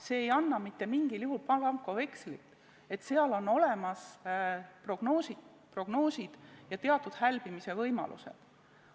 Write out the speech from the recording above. See ei anna mingil juhul blankovekslit, et seal on olemas prognoosid ja teatud hälbimise võimalused.